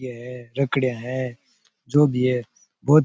यह लकड़िया है जो भी है बहुत --